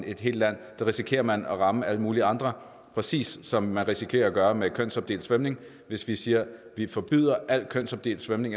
et helt land risikerer man at ramme alle mulige andre præcis som man risikerer at gøre det med kønsopdelt svømning hvis vi siger at vi forbyder al kønsopdelt svømning